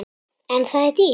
En það er dýrt.